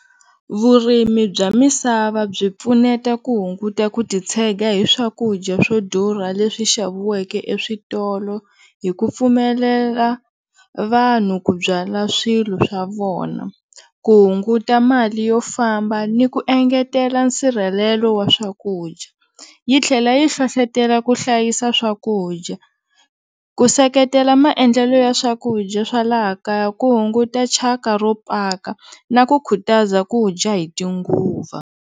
Vurimi bya misava byi pfuneta ku hunguta ku titshega hi swakudya swo durha leswi xaviweke eswitolo hi ku pfumelela vanhu ku byala swilo swa vona ku hunguta mali yo famba ni ku engetela nsirhelelo wa swakudya, yi tlhela yi hlohletela ku hlayisa swakudya, ku seketela maendlelo ya swakudya swa laha kaya ku hunguta chaka ro paka na ku khutaza ku dya hi ti nguva.